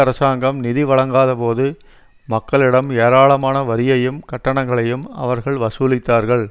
அரசாங்கம் நிதி வழங்காதபோது மக்களிடம் ஏராளமான வரியையும் கட்டணங்களையும் அவர்கள் வசூலித்தார்கள்